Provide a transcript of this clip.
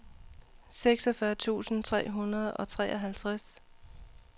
seksogfyrre tusind tre hundrede og treoghalvtreds